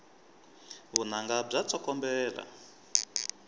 vunanga bya tsokombela